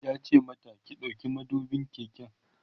yace mata "ki ɗauki madubin keken!"